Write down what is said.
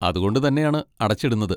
അതുകൊണ്ട് തന്നെയാണ് അടച്ചിടുന്നത്?